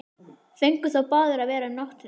Fengu þó báðir að vera um nóttina.